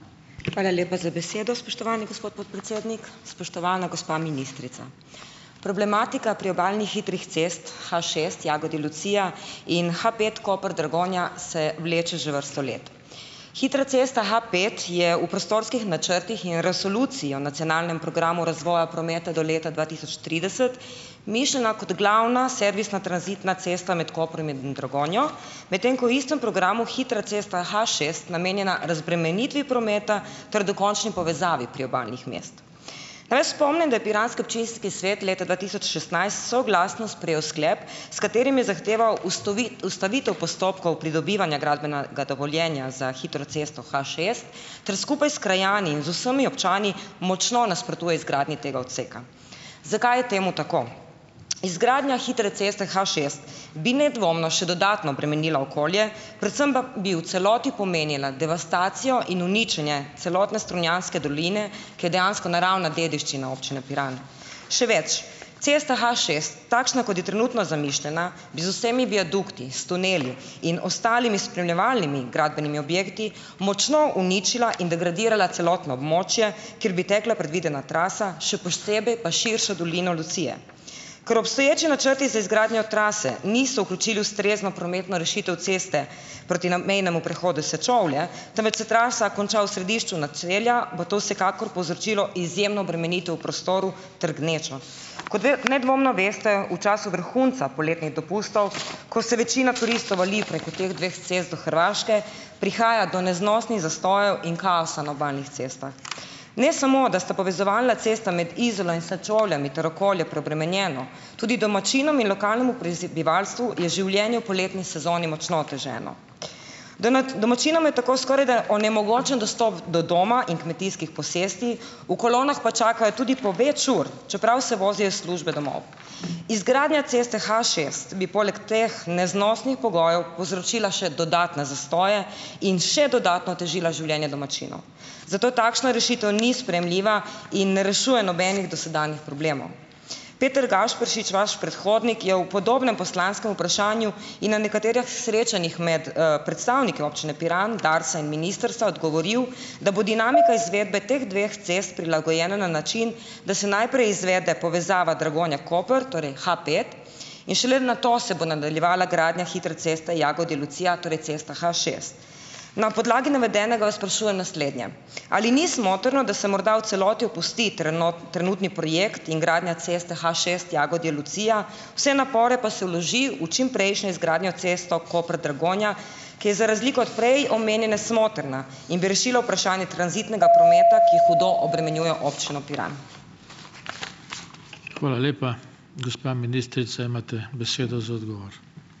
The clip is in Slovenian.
Hvala lepa za besedo, spoštovani gospod podpredsednik. Spoštovana gospa ministrica! Problematika priobalnih hitrih cest H šest Jagodje-Lucija in H pet Koper-Dragonja se vleče že vrsto let. Hitra cesta H pet je v prostorskih načrtih in resoluciji o nacionalnem programu razvoja prometa do leta dva tisoč trideset mišljena kot glavna servisna tranzitna cesta med Koprom in Dragonjo, medtem ko v istem programu hitra cesta H šest namenjena razbremenitvi prometa ter dokončni povezavi priobalnih mest. Naj spomnim, da je piranski občinski svet leta dva tisoč šestnajst soglasno sprejel sklep, s katerim je zahteval ustavitev postopkov pridobivanja gradbenega dovoljenja za hitro cesto H šest ter skupaj s krajani in z vsemi občani močno nasprotuje izgradnji tega odseka. Zakaj je temu tako? Izgradnja hitre ceste H šest bi nedvomno še dodatno bremenila okolje, predvsem pa bi v celoti pomenila devastacijo in uničenje celotne strunjanske doline, ki je dejansko naravna dediščina občine Piran. Še več, cesta H šest, takšna, kot je trenutno zamišljena, bi z vsemi viadukti, s tuneli in ostalimi spremljevalnimi gradbenimi objekti močno uničila in degradirala celotno območje, kjer bi tekla predvidena trasa, še posebej pa širša dolina Lucije. Ker obstoječi načrti za izgradnjo trase niso vključili ustrezno prometno rešitev ceste proti na mejnemu prehodu Sečovlje, temveč se trasa konča v središču naselja, bo to vsekakor povzročilo izjemno obremenitev v prostoru ter gnečo. Kot nedvomno veste, v času vrhunca poletnih dopustov, ko se večina turistov vali preko teh dveh cest do Hrvaške, prihaja do neznosnih zastojev in kaosa na obalnih cestah. Ne samo da sta povezovalna cesta med Izolo in Sečovljami ter okolje preobremenjeno, tudi domačinom in lokalnemu prebivalstvu je življenje v poletni sezoni močno oteženo. domačinom je tako skorajda onemogočen dostop do doma in kmetijskih posesti, v kolonah pa čakajo tudi po več ur, čeprav se vozijo iz službe domov. Izgradnja ceste H šest bi poleg teh neznosnih pogojev povzročila še dodatne zastoje in še dodatno otežila življenje domačinov. Zato takšna rešitev ni sprejemljiva in ne rešuje nobenih dosedanjih problemov. Peter Gašperšič, vaš predhodnik, je v podobnem poslanskem vprašanju in na nekaterih srečanjih med, predstavniki občine Piran, Darsa in ministrstva odgovoril, da bo dinamika izvedbe teh dveh cest prilagojena na način, da se najprej izvede povezava Dragonja-Koper, torej H pet, in šele nato se bo nadaljevala gradnja hitre ceste Jagodje-Lucija, torej cesta H šest. Na podlagi navedenega vas sprašujem naslednje: Ali ni smotrno, da se morda v celoti opusti trenutni projekt in gradnja ceste H šest Jagodje-Lucija, vse napore pa se vloži v čimprejšnjo izgradnjo ceste Koper-Dragonja, ki je za razliko od prej omenjene smotrna in bi rešila vprašanje tranzitnega prometa, ki hudo obremenjuje občino Piran?